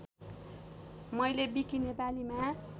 मैले विकि नेपालीमा